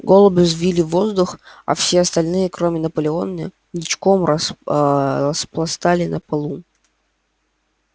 голуби взвились в воздух а все остальные кроме наполеона ничком распластались на полу